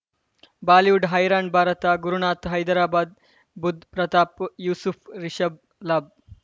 Bollywood ಹೈರಾಣಣ್ ಭಾರತ ಗುರುನಾಥ ಹೈದರಾಬಾದ್ ಬುಧ್ ಪ್ರತಾಪ್ ಯೂಸುಫ್ ರಿಷಬ್ ಲಾಬ್